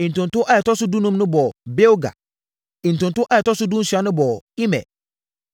Ntonto a ɛtɔ so dunum no bɔɔ Bilga. Ntonto a ɛtɔ so dunsia no bɔɔ Imer.